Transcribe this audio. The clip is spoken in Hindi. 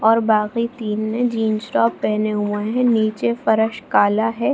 और बाकि तीन ने जीन्स टॉप पहने हुए है नीचे फर्श काला है।